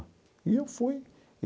E eu fui.